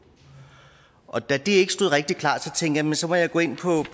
og da det ikke stod rigtig klart tænkte jeg at så må jeg gå ind på